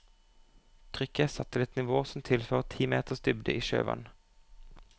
Trykket er satt til et nivå som tilsvarer ti meters dybde i sjøvann.